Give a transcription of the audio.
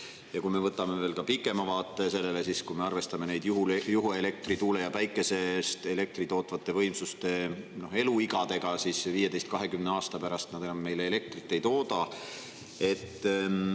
Ja kui me võtame veel ka pikema vaate sellele, siis kui me arvestame juhuelektri, tuulest ja päikesest elektrit tootvate võimsuste eluiga, siis 15–20 aasta pärast nad enam meile elektrit ei tooda.